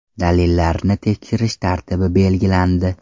Dalillarni tekshirish tartibi belgilandi.